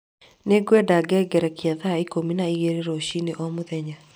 Nĩ ngwenda ngengerekia thaa ikũmi na igĩrĩ rũcinĩ o mũthenya